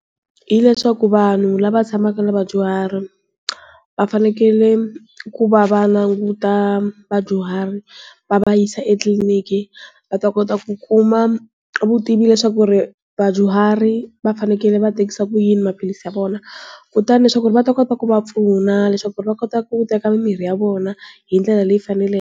Hi leswaku vanhu lava tshamaka na vadyuhari, va fanekele ku va va languta vadyuhari. Va va yisa etliliniki va ta kota ku kuma, vutivi leswaku ri, vadyuhari va fanekele va tekisa ku yini maphilisi ya vona. Kutani leswaku ri va ta kota ku va pfuna leswaku ri va kota ku teka mimirhi ya vona hi ndlela leyi faneleke.